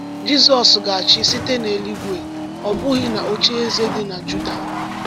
Jizọs ga-achị site n’eluigwe, ọ bụghị n’ocheeze dị na Juda.